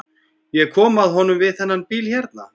Ég kom að honum við þennan bíl hérna.